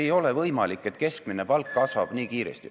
Ei ole võimalik, et keskmine palk kasvab nii kiiresti.